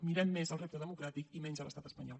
mirem més el repte democràtic i menys l’estat espanyol